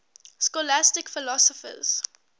scholastic philosophers